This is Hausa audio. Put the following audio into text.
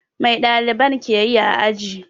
Mai ɗaliban ke yi a aji?